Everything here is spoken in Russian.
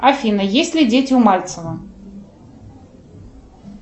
афина есть ли дети у мальцева